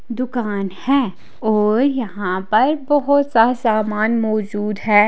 दुकान हैं और यहां पर बहोत सा सामान मौजूद है।